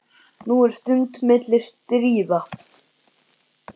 Nú er stund milli stríða.